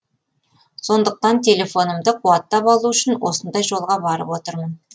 сондықтан телефонымды қуаттап алу үшін осындай жолға барып отырмын